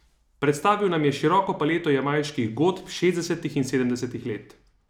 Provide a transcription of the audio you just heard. Predstavil nam je široko paleto jamajških godb šestdesetih in sedemdesetih let.